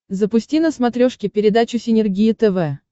запусти на смотрешке передачу синергия тв